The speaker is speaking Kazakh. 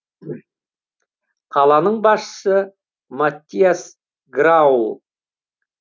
қаланың басшысы маттиас грауль